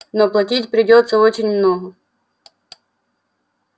но платить придётся очень много